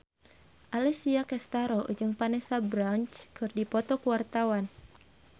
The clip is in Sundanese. Alessia Cestaro jeung Vanessa Branch keur dipoto ku wartawan